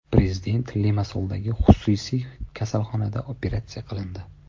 Prezident Limassoldagi xususiy kasalxonada operatsiya qilindi.